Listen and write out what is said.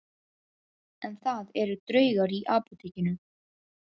En það eru draugar í Apótekinu